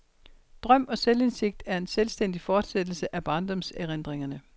Drøm og selvindsigt er en selvstændig fortsættelse af barndomserindringerne.